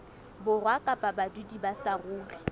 borwa kapa badudi ba saruri